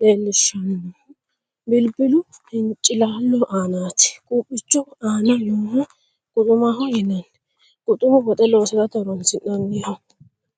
leellinshoonnihu bilbilu hincilaallo aanaati. Quuphicho aana nooha quxumaho yinanni. Quxumu woxe loosate horonsi'nanniho.